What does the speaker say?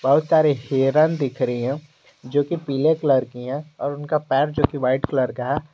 बहुत सारी हिरण दिख रही हैं जो कि पीले कलर की हैं और उनका पैर जो कि व्हाईट कलर का है।